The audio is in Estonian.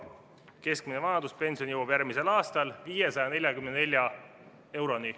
Keskmine vanaduspension jõuab järgmisel aastal 544 euroni.